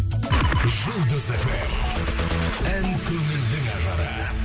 жұлдыз фм ән көңілдің ажары